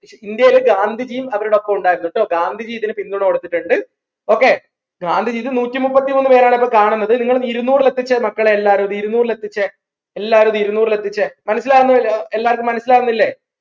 ഇന്ത്യയിൽ ഗാന്ധിജിയും അവരുടെപ്പം ഉണ്ടായിരുന്നു ട്ടോ ഗാന്ധിജി ഇതിന് പിന്തുണ കൊടുത്തിട്ടുണ്ട് okay ഗാന്ധിജി ഇത് നൂറ്റിമുപ്പത്തി മൂന്ന് പേരാണ് ഇപ്പൊ കാണുന്നത് ഇങ്ങളിത് ഇരുന്നൂറിൽ എത്തിച്ചേ മക്കളെ എല്ലാരും ഇത് ഇരുന്നൂറിൽ എത്തിച്ചേ എല്ലാരും ഇത് ഇരുന്നൂറിൽ എത്തിച്ചേ മനസ്സിലാവുന്ന എല്ലാവർക്കും മനസ്സിലാവുന്നില്ലേ